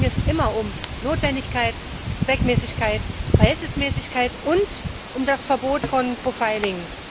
Dabei ging es immer um Notwendigkeit, Zweckmäßigkeit, Verhältnismäßigkeit und um das Verbot des Profiling.